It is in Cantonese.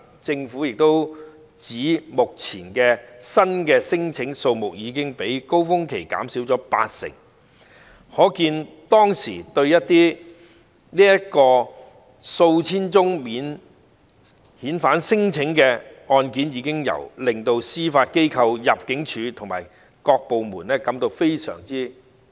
政府表示，目前新聲請的數目已較高峰期減少八成，可見以往數千宗免遣返聲請的確令司法機構、入境處及各有關部門吃不消。